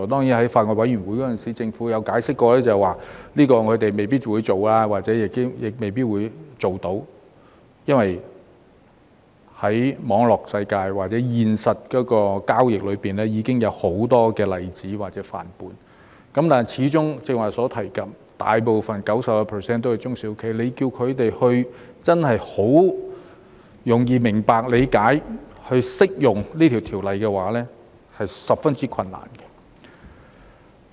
在法案委員會上，政府曾解釋它們未必會做或做得到，就是由於在網絡世界或現實交易中，已經有很多例子或範本，但始終像剛才所提及，香港畢竟大部分企業中 90% 也是中小企，要它們容易明白理解及使用這項條例草案，其實是十分困難的。